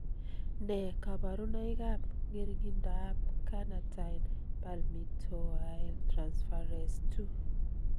Nee kabarunoikab ng'ering'indoab Carnitine palmitoyltransferase 2?